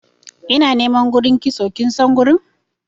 ina niman gurin kitso kinsan gurin?